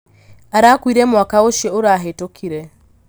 Arakuire mwaka ũcio ũrahĩtũkire.